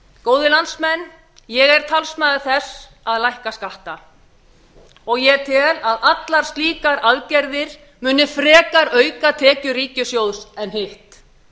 góðir landsmenn ég er talsmaður þess að lækka skatta og tel að allar slíkar aðgerðir muni frekar auka tekjur ríkissjóðs en hitt